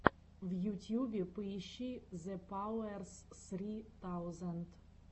в ютьюбе поищи зэпауэрс ссри таузенд